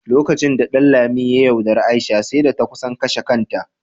Lokacin da Ɗanlami ya yaudari Aisha, sai da ta kusan kashe kanta.